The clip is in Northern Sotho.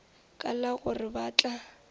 ka la gore ba tla